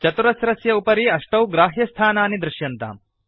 चतुरस्रस्य उपरि अष्टौ ग्राह्यस्थानानि दृश्यन्ताम्